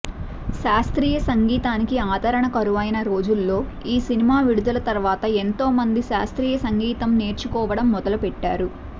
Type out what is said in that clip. శాస్త్రీయ సంగీతానికి ఆదరణ కరువైన రోజుల్లో ఈ సినిమా విడుదల తరువాత ఎంతో మంది శాస్త్రీయ సంగీతం నేర్చుకోవటం మొదలుపెట్టారు